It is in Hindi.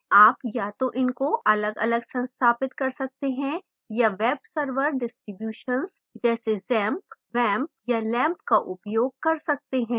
आप या तो इनको अलगअलग संस्थापित कर सकते हैं या web server distribution जैसे xampp wampp या lampp का उपयोग कर सकते हैं